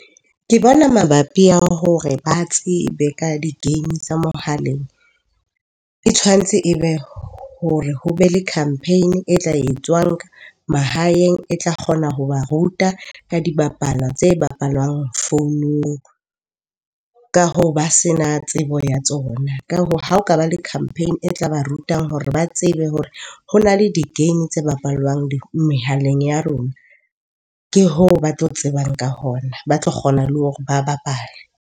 Ke bona mabapi a hore ba tsebe ka di-game tsa mohaleng e tshwantse e be hore ho be le campaign-e e tla e tswang mahaeng, e tla kgona ho ba ruta ka di bapala tse bapalwang founung ka hoo ba se na tsebo ya tsona. Ka hoo, ha ho ka ba le campaign-e e tla ba rutang hore ba tsebe hore ho na le di-game tse bapallwang mehaleng ya rona. Ke hoo ba tlo tsebang ka hona, ba tlo kgona le hore ba bapale.